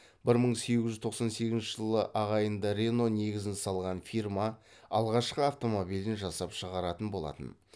бір мың сегіз жүз тоқсан сегізінші жылы ағайынды рено негізін салған фирма алғашқы автомобилін жасап шығаратын болатын